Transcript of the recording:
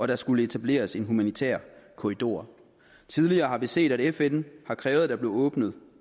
der skulle etableres en humanitær korridor tidligere har vi set at fn har krævet at der blev åbnet